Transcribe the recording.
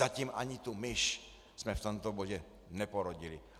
Zatím ani tu myš jsme v tomto bodě neporodili.